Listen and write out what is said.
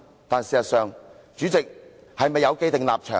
"但事實上，主席是否有既定立場？